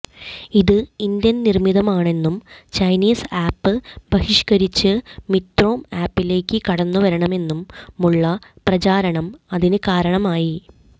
ഇത് ഇന്ത്യൻ നിർമിതമാണെന്നും Chinese app ബഹിഷ്കരിച്ച് മിത്രോം ആപ്പിലേക്ക് കടന്നുവരണമെന്നുമുള്ള പ്രചാരണം അതിന് കാരണമായി